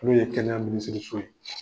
N'o ye kɛnɛya minisiri so ye